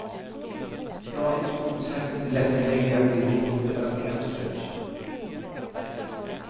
Bra instruktionshäfte med lättillgängliga bilder på både övningar och stretch.